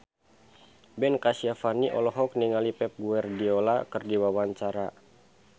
Ben Kasyafani olohok ningali Pep Guardiola keur diwawancara